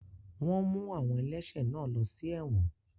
Wọ́n mú àwọn ẹlẹ́ṣẹ̀ náà lọ sí ẹ̀wọ̀n